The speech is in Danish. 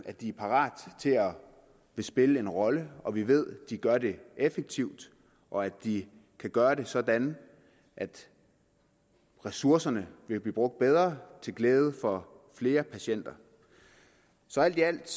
at de er parat til at spille en rolle og vi ved de gør det effektivt og at de kan gøre det sådan at ressourcerne vil blive brugt bedre til glæde for flere patienter så alt i alt